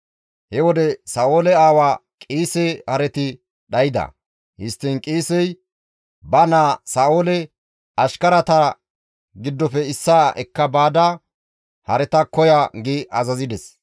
He wode Sa7oole aawa Qiise hareti dhayda; histtiin Qiisey ba naa Sa7oole, «Ashkarata giddofe issaa ekka baada hareta koya» gi azazides.